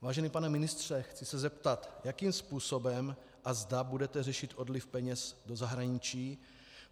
Vážený pane ministře, chci se zeptat, jakým způsobem a zda budete řešit odliv peněz do zahraničí.